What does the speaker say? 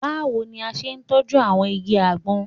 Báwo ni o ṣe tọ́jú àwọn igi àgbọn?